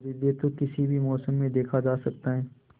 सूर्योदय तो किसी भी मौसम में देखा जा सकता है